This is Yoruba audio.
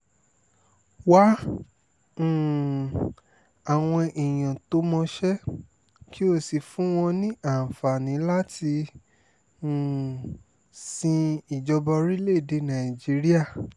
wá um àwọn èèyàn tó mọṣẹ́ kí o sì fún wọn ní àǹfààní láti um sin ìjọba orílẹ̀-èdè nàìjíríà